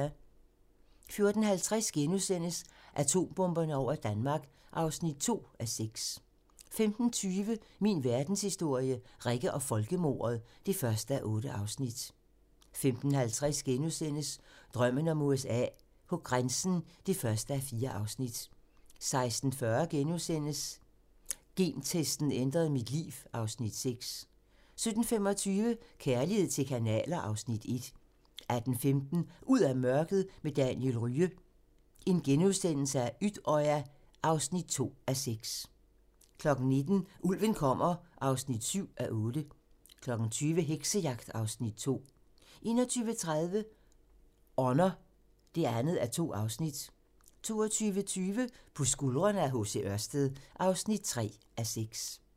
14:50: Atombomberne over Danmark (2:6)* 15:20: Min verdenshistorie - Rikke og folkemordet (1:8) 15:50: Drømmen om USA: På grænsen (1:4)* 16:40: Gentesten ændrede mit liv (Afs. 6)* 17:25: Kærlighed til kanaler (Afs. 1) 18:15: Ud af mørket med Daniel Rye - Utøya (2:6)* 19:00: Ulven kommer (7:8) 20:00: Heksejagt (Afs. 2) 21:30: Honour (2:2) 22:20: På skuldrene af H. C. Ørsted (3:6)